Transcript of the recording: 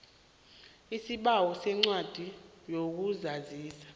isibawo sencwadi yokuzazisa